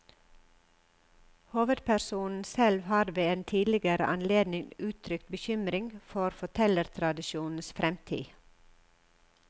Hovedpersonen selv har ved en tidligere anledning uttrykt bekymring for fortellertradisjonens fremtid.